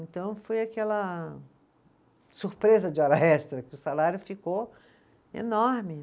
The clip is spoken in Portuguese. Então, foi aquela surpresa de hora extra, que o salário ficou enorme.